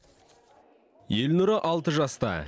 елнұры алты жаста